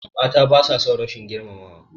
Mata basa son rashin girmamawa.